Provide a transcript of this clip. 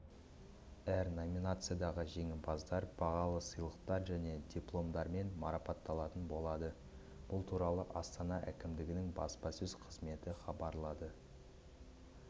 әр номинациядағы жеңімпаздар бағалы сыйлықтар және дипломдармен марапатталатын болады бұл туралы астана әкімдігінің баспасөз қызметі хабарлады